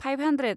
five hundred